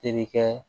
Terikɛ